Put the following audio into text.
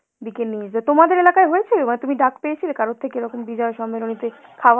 দিকে নিয়ে যে, তোমাদের এলাকায় হয়েছে বা তুমি ডাক পেয়েছিলে কারোর থেকে এরকম বিজয়া সম্মেলনিতে খাওয়া ,